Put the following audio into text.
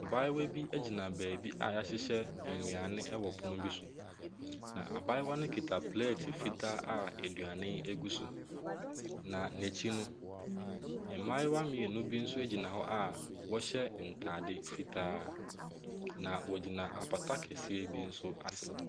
Abayewa bi gyina baabi a wɔahyehyɛ nnuane wɔ pono bi so, na abayewa no kita pleeti fitaa a aduane gu so, na n'akyi no, mmayewa mmienu bi nso gyina hɔ a wɔhyɛ ntade fitaa, na wɔgyina apata kɛseɛ bi nso ase.